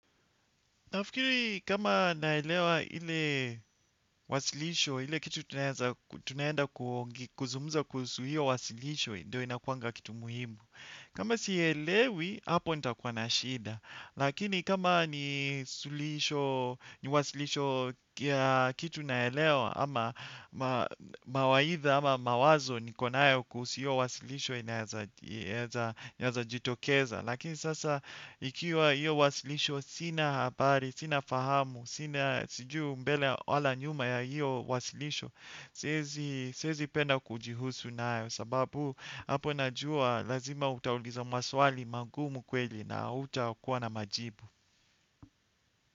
Nafikiri kama naelewa ile wasilisho, ile kitu tunaenda kuzungumza kuhusu hiyo wasilisho, ndio inakuanga kitu muhimu. Kama sielewi, hapo nitakuwa na shida. Lakini kama ni wasilisho kitu naelewa, ama mawaidha, ama mawazo niko nayo kuhusu hiyo wasilisho inaeza jitokeza. Lakini sasa ikiwa hiyo wasilisho sina habari, sina fahamu, sina sijui mbele wala nyuma ya hiyo wasilisho, siezi penda kujihusu nayo sababu hapo najua lazima utaulizwa maswali magumu kweli na hutakuwa na majibu.